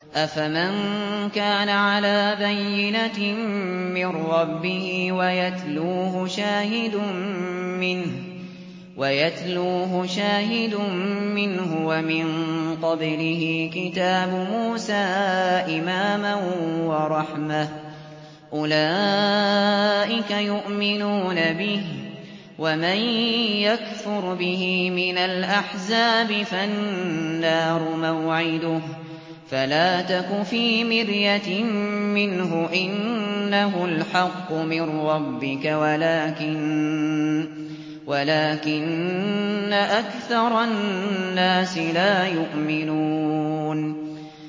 أَفَمَن كَانَ عَلَىٰ بَيِّنَةٍ مِّن رَّبِّهِ وَيَتْلُوهُ شَاهِدٌ مِّنْهُ وَمِن قَبْلِهِ كِتَابُ مُوسَىٰ إِمَامًا وَرَحْمَةً ۚ أُولَٰئِكَ يُؤْمِنُونَ بِهِ ۚ وَمَن يَكْفُرْ بِهِ مِنَ الْأَحْزَابِ فَالنَّارُ مَوْعِدُهُ ۚ فَلَا تَكُ فِي مِرْيَةٍ مِّنْهُ ۚ إِنَّهُ الْحَقُّ مِن رَّبِّكَ وَلَٰكِنَّ أَكْثَرَ النَّاسِ لَا يُؤْمِنُونَ